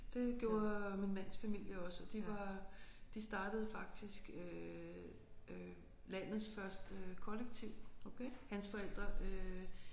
Det gjorde min mands familie også og de var de startede faktisk øh øh landets første kollektiv hans forældre øh